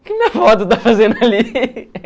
O que minha foto está fazendo ali?